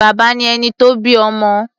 Bàbá ni ẹni tó bí ọmọ.